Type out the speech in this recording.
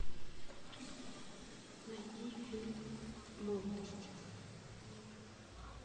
найди фильм молодость